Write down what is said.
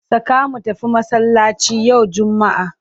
Saka mu tafi masallaci yau Juma'a!